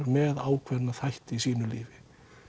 með ákveðna þætti í sínu lífi